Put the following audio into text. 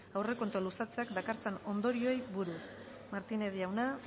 aurrekontuak luzatzeak dakartzan ondorioei buruz martínez jauna